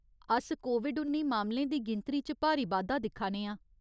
अस कोविड उन्नी मामलें दी गिनतरी च भारी बाद्धा दिक्खा ने आं।